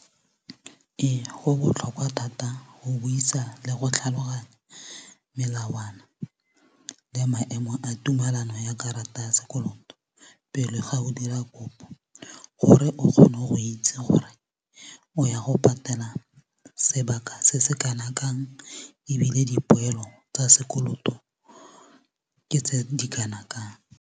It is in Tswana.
Ee go botlhokwa thata go buisa le go tlhaloganya melawana le maemo a tumelano ya karata ya sekoloto pele ga o dira kopo gore o kgone go itse gore o ya go patela sebaka se se kana kang ebile dipoelo tsa sekoloto ke tse di kana kang.